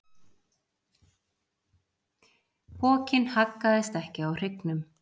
Pokinn haggaðist ekki á hryggnum.